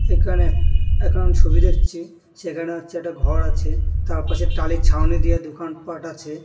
এখানে একখান ছবি দেখছি সেখানে হচ্ছে একটা ঘর আছে তার পাশে টালির ছাউনি দিয়ে দোকানপাট আছে ।